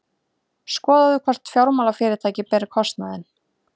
Skoðað hvort fjármálafyrirtæki beri kostnaðinn